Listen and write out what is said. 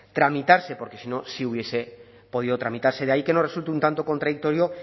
tramitarse porque si no sí hubiese podido tramitarse de ahí que nos resulte un tanto contradictorio